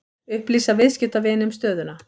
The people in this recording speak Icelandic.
Upplýsa viðskiptavini um stöðuna